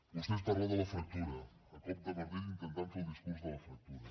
vostè ens parla de la fractura a cop de martell i intentant fer el discurs de la fractura